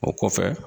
O kɔfɛ